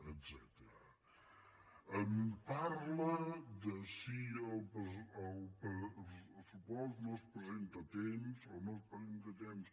em parla de si el pressupost no es presenta a temps o no es presenta a temps